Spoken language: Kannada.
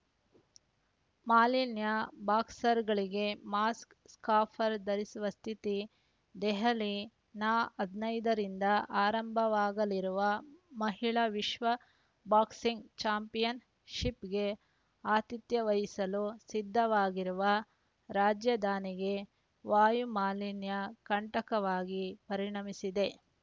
ಮಾಲಿನ್ಯ ಬಾಕ್ಸರ್‌ಗಳಿಗೆ ಮಾಸ್ಕ್‌ ಸ್ಕಾಫರ್ ಧರಿಸುವ ಸ್ಥಿತಿ ದೆಹಲಿ ನ ಹದಿನೈದರಿಂದ ಆರಂಭವಾಗಲಿರುವ ಮಹಿಳಾ ವಿಶ್ವ ಬಾಕ್ಸಿಂಗ್‌ ಚಾಂಪಿಯನ್‌ಶಿಪ್‌ಗೆ ಆತಿಥ್ಯ ವಹಿಸಲು ಸಿದ್ಧವಾಗಿರುವ ರಾಜಧಾನಿಗೆ ವಾಯು ಮಾಲಿನ್ಯ ಕಂಟಕವಾಗಿ ಪರಿಣಮಿಸಿದೆ